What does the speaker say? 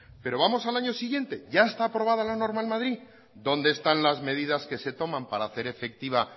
pero vamos al año siguiente ya está aprobada la norma en madrid dónde están las medidas que se toman para hacer efectiva